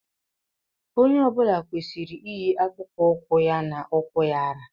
Onye ọ bụla kwesịrị iyi akpụkpọ ụkwụ ya na ukwu ya ra.